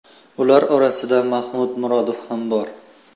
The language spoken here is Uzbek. Ular orasida Mahmud Murodov ham bor.